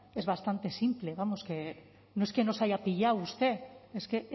es bastante simple vamos que no es que nos haya pillado usted es que